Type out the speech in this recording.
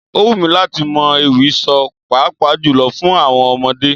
Ó wù mí láti mọ ewì sọ, pàápàá jùlọ fún àwọn ọmọdé.